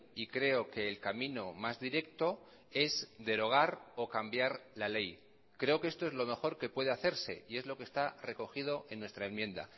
y creo que el camino más directo es derogar o cambiar la ley creo que esto es lo mejor que puede hacerse y es lo que está recogido en nuestra enmienda